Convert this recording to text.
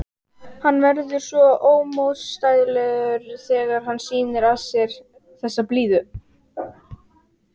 Hann verður svo ómótstæðilegur þegar hann sýnir af sér þessa blíðu.